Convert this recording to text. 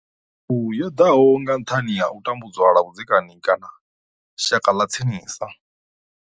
Thumbu yo ḓa nga nṱhani ha u tambudzwa lwa vhudzekani kana nga shaka ḽa tsinisa.